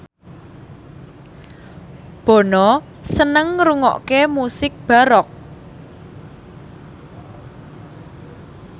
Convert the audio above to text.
Bono seneng ngrungokne musik baroque